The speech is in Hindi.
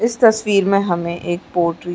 इस तस्वीर में हमें एक पॉल्ट्री --